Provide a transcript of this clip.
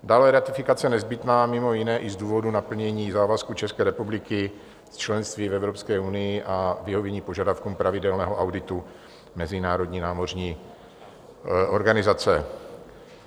Dále je ratifikace nezbytná mimo jiné i z důvodu naplnění závazků České republiky z členství v Evropské unii a vyhovění požadavkům pravidelného auditu Mezinárodní námořní organizace.